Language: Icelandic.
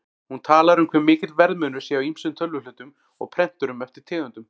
Hún talar um hve mikill verðmunur sé á ýmsum tölvuhlutum og prenturum eftir tegundum.